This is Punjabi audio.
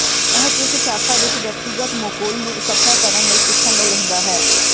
ਇਹ ਕਿਸ ਸ਼ਾਖਾ ਵਿੱਚ ਵਿਅਕਤੀਗਤ ਮੁਕੁਲ ਨੂੰ ਇਕੱਠਾ ਕਰਨ ਲਈ ਸਿੱਖਣ ਲਈ ਰਹਿੰਦਾ ਹੈ